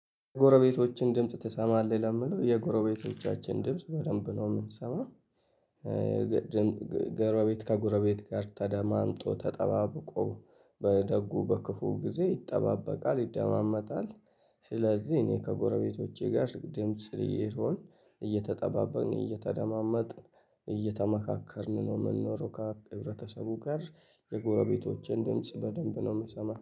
ጎረቤቶችን ድምጽ ትሰማለህ ለሚለው የጎረቤቶቻችን ድምጽ በደንብ ነው የምንሰማው። ጎረቤት ከጎረቤት ጋር ተደማምጦ ተጠባብቆ በደጉ በክፉ ጊዜ ይጠባበቃል ይደማመጣል። ስለዚህ እኔ ከጎረቤቶቼ ጋር ደም ስር ስሆን እየተጠባበቅን እየተደማመጥን እየተማካከርን ነው ምንኖረው ካ ህብረተሰቡ ጋር የጎረቤቶቼን ድምጽ በደንብ ነው የምሰማው